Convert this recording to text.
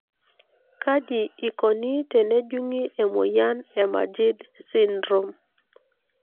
kaji ikoni tenejungi emoyian e Majeed syndrome?